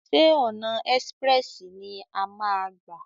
Ṣé ọ̀nà ẹ́sprẹ̀sì ni a máa a gbà?